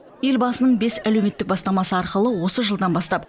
елбасының бес әлеуметтік бастамасы арқылы осы жылдан бастап